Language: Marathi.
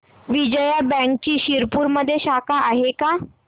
विजया बँकची शिरपूरमध्ये शाखा आहे का